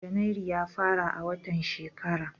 Janairu ya fara a watan shekara.